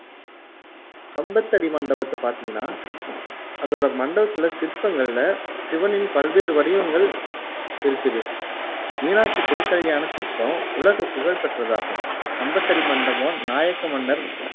கம்பத்தடி மண்டபத்தை பாத்தீங்கன்னா அதோட மண்டபத்துல சிற்பங்களில சிவனின் பல்வேறு வடிவங்கள் இருக்குது மீனாட்சி திருக்கல்யாணச் சிற்பம் உலகப் புகழ் பெற்றதாகும். கம்பத்தடி மண்டபம், நாயக்க மன்னர்